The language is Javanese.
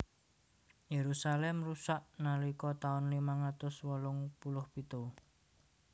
Yerusalem rusak nalika taun limang atus wolung puluh pitu